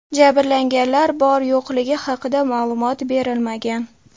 Jabrlanganlar bor-yo‘qligi haqida ma’lumot berilmagan.